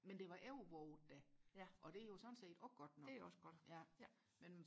men det var overvåget da og det er jo sådan set også godt nok ja